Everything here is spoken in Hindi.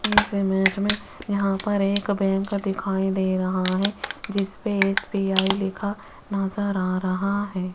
इस इमेज में यहां पर एक बैंक दिखाई दे रहा है जिस पे एस_बी_आई लिखा नजर आ रहा है।